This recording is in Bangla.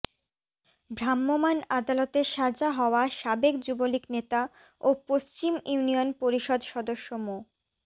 ভ্রাম্যমাণ আদালতে সাজা হওয়া সাবেক যুবলীগ নেতা ও পশ্চিম ইউনিয়ন পরিষদ সদস্য মো